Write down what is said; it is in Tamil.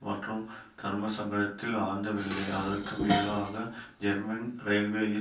மட்டும் தர்மசங்கடத்தில் ஆழ்ந்தவில்லை அதற்கு மேலாக ஜெர்மன் இரயில்வேயின்